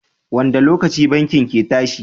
wanda lokaci bankin ke tashi?